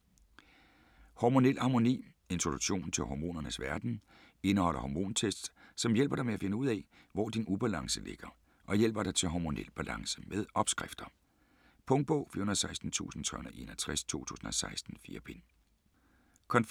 Hormonel harmoni Introduktion til hormonernes verden. Indeholder "hormontests", som hjælp dig med at finde ud af, hvor din ubalance ligger og guider dig til hormonel balance. Med opskrifter. Punktbog 416361 2016. 4 bind.